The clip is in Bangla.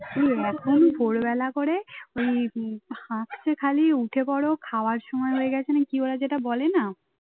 হম একদম ভোরবেলা করে ওই আস্তে খালি উঠে পড় খাওয়ার সময় হয়ে গেছে না কি ওরা যেটা বলে না